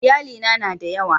Iyalina na da yawa.